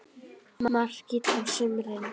Makríll á sumrin.